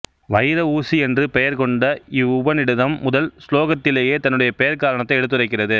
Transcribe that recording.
வைர ஊசி என்று பெயர் கொண்ட இவ்வுபநிடதம் முதல் சுலோகத்திலேயே தன்னுடைய பெயர்க்காரணத்தை எடுத்துரைக்கிறது